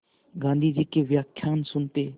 गाँधी जी के व्याख्यान सुनते